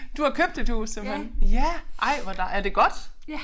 Du har købt et hus simpelthen. Ja ej hvor er det godt